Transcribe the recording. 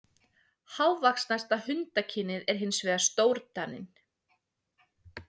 Hávaxnasta hundakynið er hins vegar stórdaninn.